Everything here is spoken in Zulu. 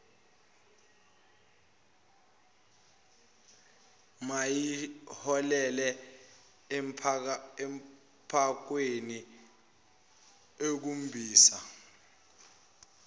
mayiholele empathweni ekhombisa